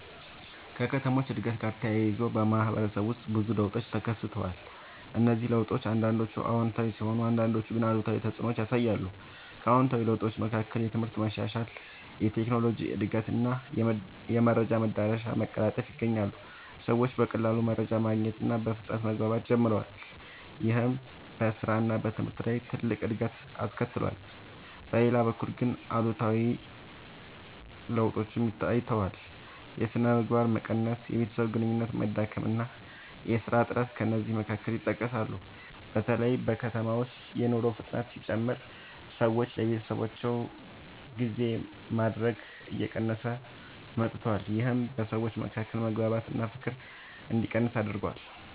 ከከተሞች እድገት ጋር ተያይዞ በማህበረሰብ ውስጥ ብዙ ለውጦች ተከስተዋል። እነዚህ ለውጦች አንዳንዶቹ አዎንታዊ ሲሆኑ አንዳንዶቹ ግን አሉታዊ ተፅዕኖ ያሳያሉ። ከአዎንታዊ ለውጦች መካከል የትምህርት መሻሻል፣ የቴክኖሎጂ እድገት እና የመረጃ መዳረሻ መቀላጠፍ ይገኛሉ። ሰዎች በቀላሉ መረጃ ማግኘት እና በፍጥነት መግባባት ጀምረዋል። ይህም በስራ እና በትምህርት ላይ ትልቅ እድገት አስከትሏል። በሌላ በኩል ግን አሉታዊ ለውጦችም ታይተዋል። የሥነ ምግባር መቀነስ፣ የቤተሰብ ግንኙነት መዳከም እና የሥራ እጥረት ከእነዚህ መካከል ይጠቀሳሉ። በተለይ በከተሞች ውስጥ የኑሮ ፍጥነት ሲጨምር ሰዎች ለቤተሰባቸው ጊዜ ማድረግ እየቀነሰ መጥቷል። ይህም በሰዎች መካከል መግባባት እና ፍቅር እንዲቀንስ አድርጓል።